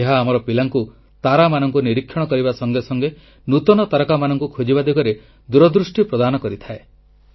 ଏହା ଆମର ପିଲାଙ୍କୁ ତାରାମାନଙ୍କୁ ନିରୀକ୍ଷଣ କରିବା ସଙ୍ଗେ ସଙ୍ଗେ ନୂତନ ତାରକାମାନଙ୍କୁ ଖୋଜିବା ଦିଗରେ ଦୂରଦୃଷ୍ଟି ପ୍ରଦାନ କରିଥାଏ